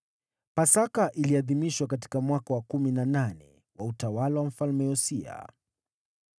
Pasaka iliadhimishwa katika mwaka wa kumi na nane wa utawala wa Mfalme Yosia.